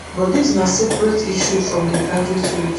but dis naseparate issue from di graduate route